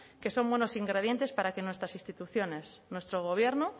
que son buenos ingredientes para que nuestras instituciones nuestro gobierno